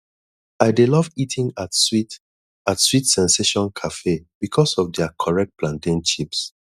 i dey love eating at sweet at sweet sensation cafe because of their correct plantain chips